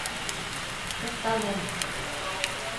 костолом